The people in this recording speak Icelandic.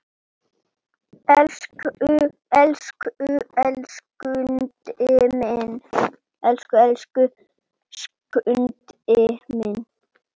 Elsku, elsku Skundi minn!